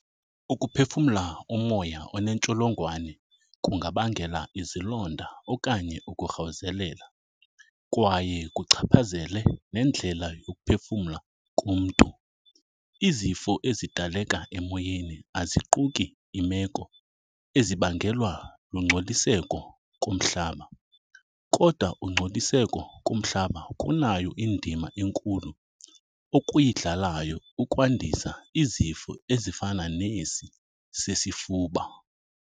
Ukuphefumla umoya oneentsholongwane kungabangela izilonda okanye ukurhawuzelela, kwaye kuchaphazele nendlela yokuphefumla komntu. Izifo ezidaleka emoyeni aziquki iimeko ezibangelwa lungcoliseko komhlaba, kodwa ungcoliseko komhlaba kunayo indima enkulu okuyidlalayo ukwandisa izifo ezifana nesi sesifuba.